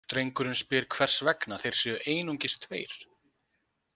Drengurinn spyr hvers vegna þeir séu einungis tveir.